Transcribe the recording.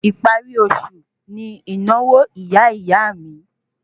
Ìparí oṣù ní ìnáwó ìyá ìyá a mi